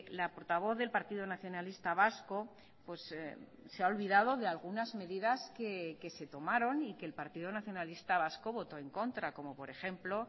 la portavoz del partido nacionalista vasco se ha olvidado de algunas medidas que se tomaron y que el partido nacionalista vasco votó en contra como por ejemplo